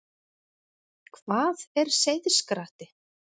Hvað er seiðskratti?